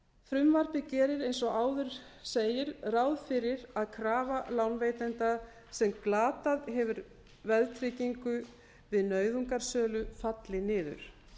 frumvarpið gerir eins og áður segir ráð fyrir að krafa lánveitanda sem glatað hefur veðtryggingu við nauðungarsölu falli niður